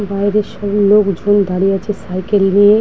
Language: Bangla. বাইরে সব লোক জন দাঁড়িয়ে আছে সাইকেল নিয়ে--